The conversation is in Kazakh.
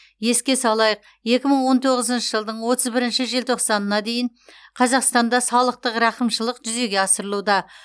еске салайық екі мың он тоғызыншы жылдың отыз бірінші желтоқсанына дейін қазақстанда салықтық рақымшылық жүзеге асырылуда